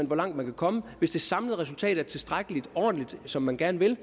hvor langt man kan komme hvis det samlede resultat er tilstrækkeligt og ordentligt og som man gerne vil